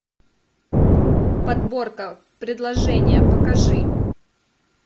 подборка предложения покажи